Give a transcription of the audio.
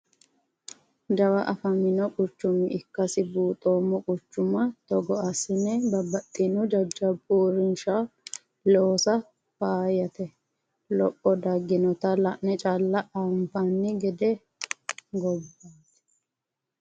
Jawa affamino quchuma ikkasi buuxoommo quchuma togo assine babbaxxitino jajjabba uurrinsha loosa faayyate lopho daginotta la'ne calla anfani gede gobbate.